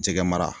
Jɛgɛ mara